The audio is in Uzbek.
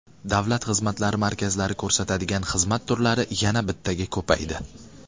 Davlat xizmatlari markazlari ko‘rsatadigan xizmat turlari yana bittaga ko‘paydi.